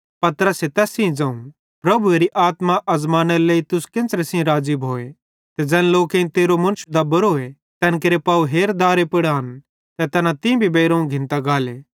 पतरसे तैस सेइं ज़ोवं प्रभुएरी आत्मा अज़मानेरे लेइ तुस केन्च़रे सेइं राज़ी भोए ते ज़ैन लोकेईं तेरो मुन्श दबोरोए तैन केरे पाव हेर दारे पुड़ आन ते तैना तीं भी बेइरोवं घिंनी गाले